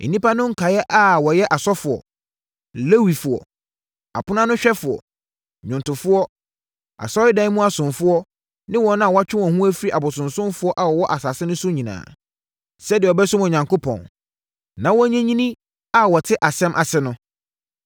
“Nnipa no nkaeɛ a wɔyɛ asɔfoɔ, Lewifoɔ, aponoanohwɛfoɔ, nnwomtofoɔ, Asɔredan mu asomfoɔ ne wɔn a wɔatwe wɔn ho afiri abosonsomfoɔ a wɔwɔ asase no so nyinaa, sɛdeɛ wɔbɛsom Onyankopɔn, na wɔanyinyini a wɔte asɛm ase no,